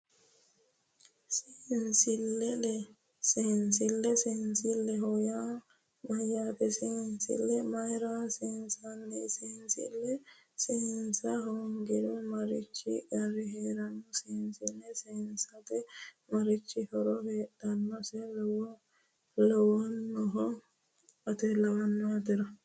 Seensille seensilleho yaa mayyaate seensille mayra seesiinsanni seensille seesiisa hoongiro marichi qarri heera seensille seesiisate marichi horo heedhannoseha lawannohe atera